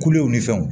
Kulew ni fɛnw